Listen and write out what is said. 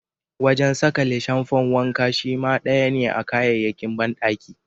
Wajen sakale shamfan wanka shima daya ne a kayayyakin bandaki.